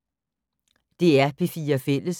DR P4 Fælles